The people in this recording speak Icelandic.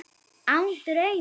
Án draums.